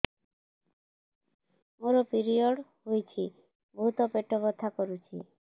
ମୋର ପିରିଅଡ଼ ହୋଇଛି ବହୁତ ପେଟ ବଥା କରୁଛି